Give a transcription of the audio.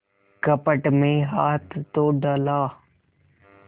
कपट में हाथ तो डाला